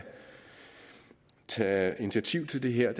tage initiativ til det her